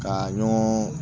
Ka ɲɔgɔn